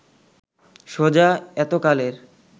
সোজা এতকালের